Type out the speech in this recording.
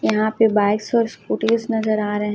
यहां पे बाइक्स और स्कूटीज नजर आ रहें हैं